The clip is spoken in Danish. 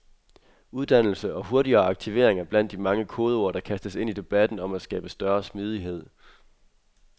Uddannelse og hurtigere aktivering er blandt de mange kodeord, der kastes ind i debatten om at skabe større smidighed.